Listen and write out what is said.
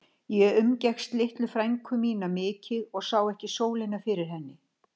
Ég umgekkst litlu frænku mína mikið og sá ekki sólina fyrir henni.